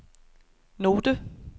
note